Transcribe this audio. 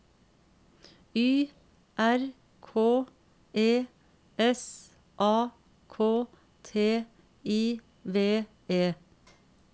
Y R K E S A K T I V E